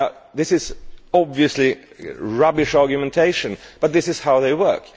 This is obviously a rubbish argument but that is how they work.